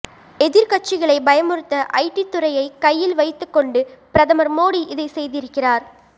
எதிர்க்கட்சிகளை பயமுறுத்த ஐடி துறையை கையில் வைத்துக் கொண்டு பிரதமர் மோடி இதை செய்திருக்கிறார்